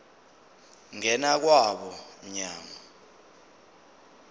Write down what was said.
ngena kwabo mnyango